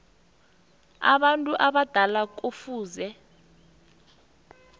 abantu abadala kufuze